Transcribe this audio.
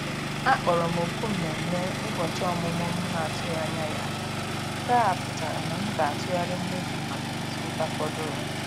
A kpọrọ m òkù mmemme ụbọchị ọmụmụ m na-atụghị anya ya, nke a pụtara na m ga-atụgharị mmefu maka izu ụka fọdụrụ